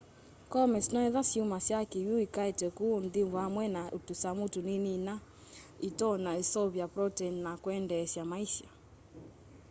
comets noetha syumasya kiwu ikaete kuu nthi vamwe na tusamu tunini ina itonya useuvya protein na kuendeesya maisa